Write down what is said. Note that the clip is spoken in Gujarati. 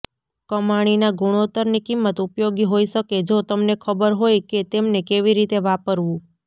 કમાણીના ગુણોત્તરની કિંમત ઉપયોગી હોઈ શકે જો તમને ખબર હોય કે તેમને કેવી રીતે વાપરવું